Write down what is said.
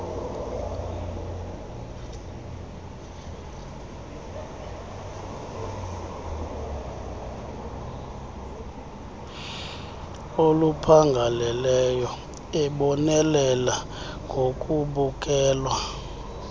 oluphangaleleyo ebonelela ngokubukelwa